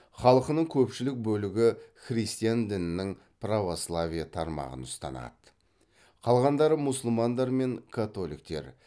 халқының көпшілік бөлігі христиан дінінің православие тармағын ұстанады қалғандары мұсылмандар мен католиктер